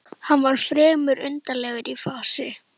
Hann var fremur undarlegur í fasi.